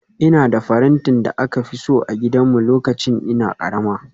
Ina da farantin da aka fi so a gidanmu lokacin ina karama